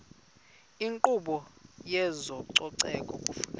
inkqubo yezococeko kufuneka